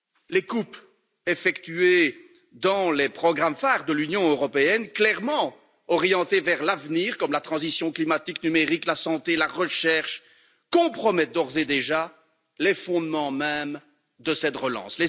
Les coupes effectuées dans les programmes phares de l'Union européenne clairement orientés vers l'avenir, comme la transition climatique, numérique, la santé ou la recherche compromettent d'ores et déjà les fondements même de cette relance.